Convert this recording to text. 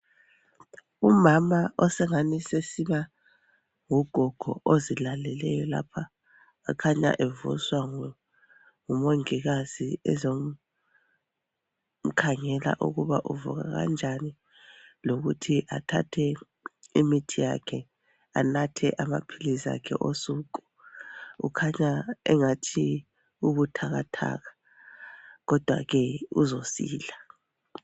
Umama osengani sesiba ngugogo ozilaleleyo lapha kukhanya evuswa ngumongikazi ezomkhangela ukuba i uvuka kanjani lokuthi athathe imithi yakhe anathe amaphilisi akhe osuku . Ukhanya engathi ubuthakathathaka kodwa ke uzosila .